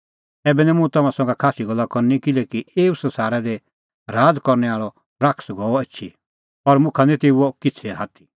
ऐबै निं मुंह तम्हां संघै खास्सी गल्ला करनी किल्हैकि एऊ संसारा दी राज़ करनै आल़अ शैतान गअ एछी और मुखा निं तेऊओ किछ़ै आथी